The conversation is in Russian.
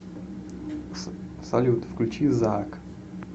салют включи заак